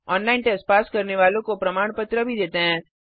online test pass करने वालों को प्रमाण पत्र भी देते हैं